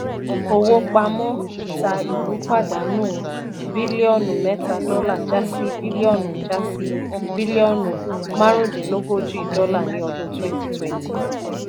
owó pamọ́ ìta ìlú pàdánù bílíọ́nù mẹ́ta dọ́là já sí bílíọ́nù já sí bílíọ́nù márùndínlógójì dọ́là ní odun 2020.